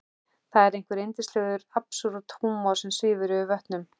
Það er einhver yndislegur absúrd-húmor sem svífur yfir vötnum.